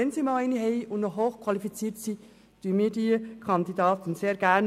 Wenn diese einmal eine hochqualifizierte Frau bringt, unterstützen wir diese Kandidatin sehr gerne.